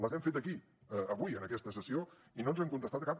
les hem fet aquí avui en aquesta sessió i no ens han contestat a cap